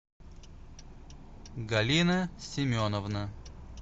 галина семеновна